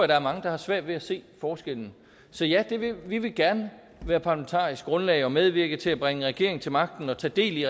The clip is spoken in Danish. der er mange der har svært ved at se forskellen så ja vi vil gerne være parlamentarisk grundlag og medvirke til at bringe en regering til magten og tage del i